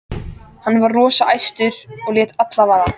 Hann var rosa æstur og lét allt vaða.